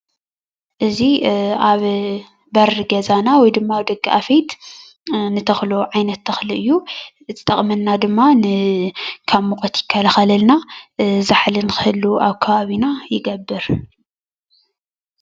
እዚ አብ በሪ ገዛና ወይ ድማ አብ ደገ አፍየት ንተኽሎ ዓይነት ተክሊ እዩ፡፡ ዝጠቅመና ድማ ካብ ሙቀት ይከላከለልና ፣ ዛሕሊ ንክህሉ አብ ከባቢና ይገብር፡፡